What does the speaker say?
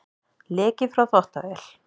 Leki frá þvottavél